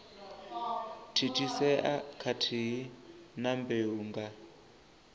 thithisea khathihi na mbeu nga